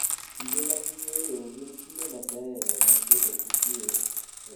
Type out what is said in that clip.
Kinde mag yueyo gin kinde mabeyo mag bedo gi kuwe kod chuny mokuwe.